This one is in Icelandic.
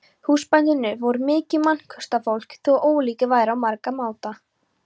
Húsbændurnir voru mikið mannkostafólk þó ólíkir væru á margan máta.